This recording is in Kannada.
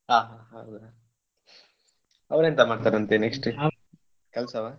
ಹಾ ಹಾ ಹೌದಾ ಅವ್ನ್ ಎಂತ ಮಾಡ್ತಾನಂತೆ ಕೆಲ್ಸವಾ?